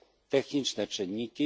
Techniczne czynniki.